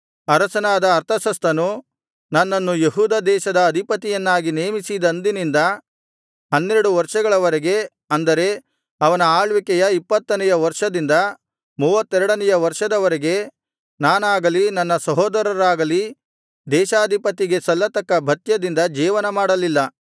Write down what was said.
ಅರಸನಾದ ಅರ್ತಷಸ್ತನು ನನ್ನನ್ನು ಯೆಹೂದ ದೇಶದ ಅಧಿಪತಿಯನ್ನಾಗಿ ನೇಮಿಸಿದಂದಿನಿಂದ ಹನ್ನೆರಡು ವರ್ಷಗಳ ವರೆಗೆ ಅಂದರೆ ಅವನ ಆಳ್ವಿಕೆಯ ಇಪ್ಪತ್ತನೆಯ ವರ್ಷದಿಂದ ಮೂವತ್ತೆರಡನೆಯ ವರ್ಷದವರೆಗೆ ನಾನಾಗಲಿ ನನ್ನ ಸಹೋದರರಾಗಲಿ ದೇಶಾಧಿಪತಿಗೆ ಸಲ್ಲತಕ್ಕ ಭತ್ಯದಿಂದ ಜೀವನಮಾಡಲಿಲ್ಲ